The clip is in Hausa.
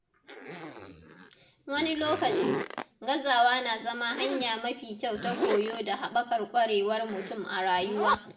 Wani lokaci, gazawa na zama hanya mafi kyau ta koyo da haɓaka ƙwarewar mutum a rayuwa.